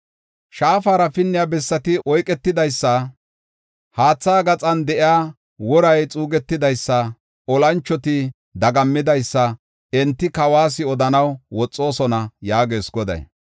Shaafara pinniya bessati oyketidaysa, haatha gaxan de7iya woray xuugetidaysanne olanchoti dagammidaysa enti kawas odanaw woxoosona” yaagees Goday.